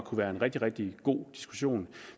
kunne være en rigtig rigtig god diskussion